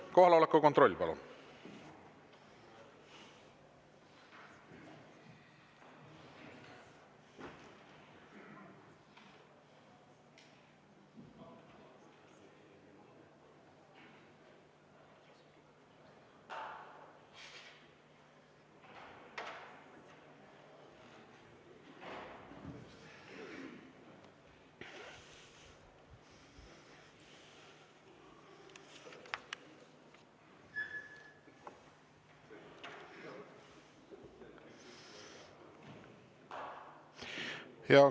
Kohaloleku kontroll, palun!